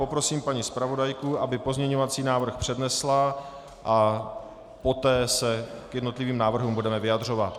Poprosím paní zpravodajku, aby pozměňovací návrh přednesla a poté se k jednotlivým návrhům budeme vyjadřovat.